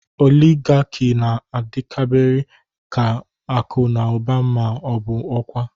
Oligarki na-adaberekarị na akụ na ụba ma ọ bụ ọkwa.